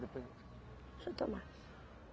Deixa eu tomar.